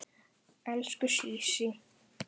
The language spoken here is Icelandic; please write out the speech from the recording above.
Elsku Sísí.